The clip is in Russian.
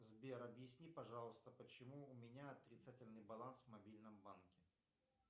сбер объясни пожалуйста почему у меня отрицательный баланс в мобильном банке